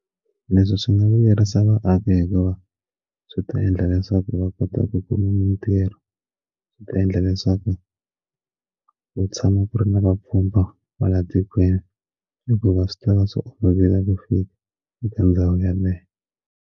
Leswi swi nga vuyerisa vaaki hikuva swi ta endla leswaku va kota ku ku mitirho swi ta endla leswaku ku tshama ku ri na vapfhumba va la tikweni hikuva swi tava swi olovile ku fika eka ndhawu yaleyo.